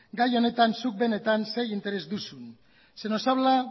gai honetan zuk benetan ze interes duzun se nos habla